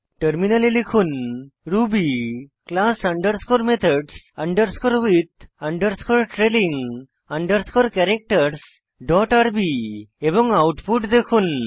টার্মিনালে লিখুন Ruby class underscore methods underscore with underscore trailing underscore ক্যারাক্টারসহ ডট আরবি এবং আউটপুট দেখুন